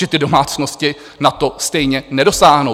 Že ty domácnosti na to stejně nedosáhnou.